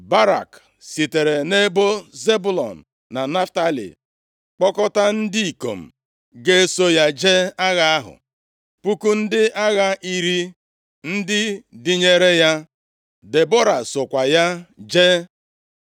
Barak sitere nʼebo Zebụlọn na Naftalị kpọkọtaa ndị ikom ga-eso ya jee agha ahụ, puku ndị agha iri ndị dịnyere ya. Debọra sokwa ya jee.